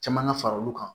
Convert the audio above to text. Caman ŋa fara olu kan